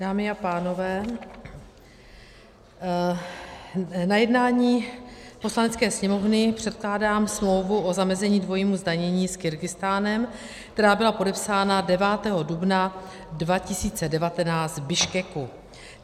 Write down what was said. Dámy a pánové, na jednání Poslanecké sněmovny předkládám smlouvu o zamezení dvojímu zdanění s Kyrgyzstánem, která byla podepsána 9. dubna 2019 v Biškeku.